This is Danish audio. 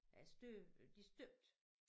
Øh støbe de støbte